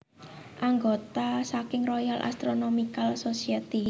Anggota saking Royal Astronomical Society